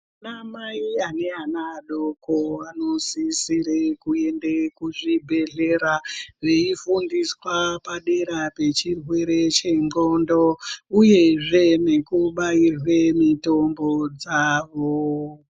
Ana mai aneana adoko anosisire kuende kuzvibhedhlera veifundiswa padera pechirwere che ndxondo uyezve nekubairwe mitombo dzavo.